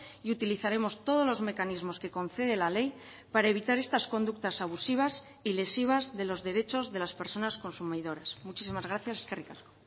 y utilizaremos todos los mecanismos que concede la ley para evitar estas conductas abusivas y lesivas de los derechos de las personas consumidoras muchísimas gracias eskerrik asko